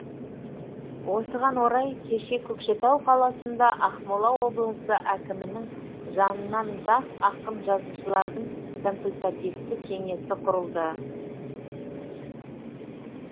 осыған орай кеше көкшетау қаласында ақмола облысы әкімінің жанынан жас ақын жазушылардың консультативті кеңесі құрылды